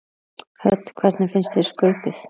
Hödd: Hvernig fannst þér skaupið?